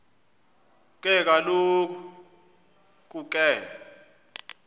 ke kaloku ke